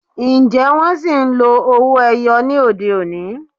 Ǹjẹ́ wón ṣì ń lo owó - ẹyọ ní òde-òní?